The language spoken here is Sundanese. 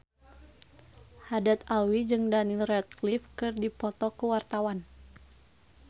Haddad Alwi jeung Daniel Radcliffe keur dipoto ku wartawan